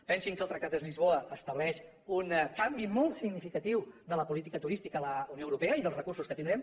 pensin que el tractat de lisboa estableix un canvi molt significatiu de la política turística a la unió europea i dels recursos que tindrem